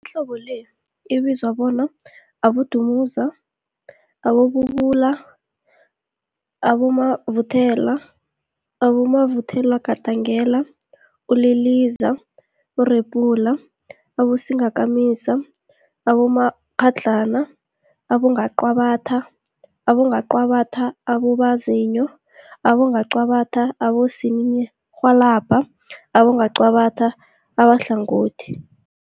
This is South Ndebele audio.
Imihlobo le ibizwa bona, Abodumuza, Abodubula, ububula, abomavuthelwa, abomavuthelwagandelela, uliliza, urephula, abosingakamisa, abomakghadlana, abongwaqabathwa, abongwaqabathwa ababozinyo, abongwaqabathwa abosininirhwalabha nabongwaqabatha abahlangothi.